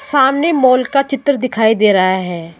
सामने मॉल का चित्र दिखाई दे रहा है।